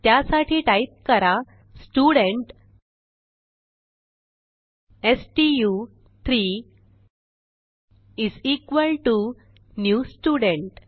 त्यासाठी टाईप करा स्टुडेंट स्टू3 is equal to new student